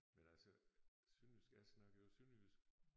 Men altså sønderjysk jeg snakker jo sønderjysk